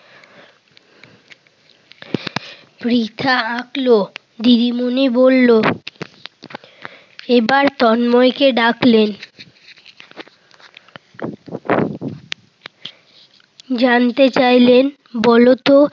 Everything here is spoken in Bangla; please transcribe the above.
পৃথা আঁকল। দিদিমণি বলল, এবার তন্ময়কে ডাকলেন। জানতে চাইলেন বলতো